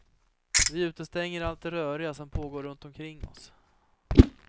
Vi utestänger allt det röriga som pågår runt omkring oss.